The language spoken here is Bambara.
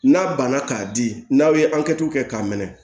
N'a banna k'a di n'aw ye an kɛ tulu kɛ k'a minɛ